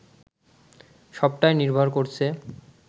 সবটাই নির্ভর করছে